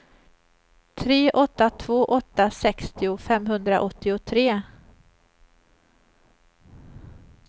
tre åtta två åtta sextio femhundraåttiotre